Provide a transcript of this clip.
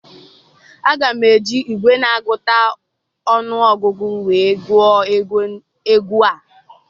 Aga m eji igwe na-agụta ọnụ ọgụgụ nwee gụọ ego a